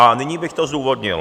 A nyní bych to zdůvodnil.